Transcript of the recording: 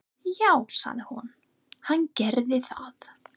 Já, sagði hún, hann gerir það.